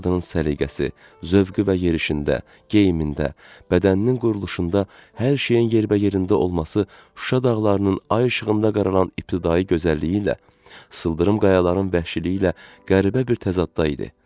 Bu qadının səliqəsi, zövqü və yerişində, geyimində, bədəninin quruluşunda hər şeyin yerbəyerində olması Şuşa dağlarının ay işığında qaralan ibtidai gözəlliyi ilə, sıldırım qayaların vəhşiliyi ilə qəribə bir təzaddaydı.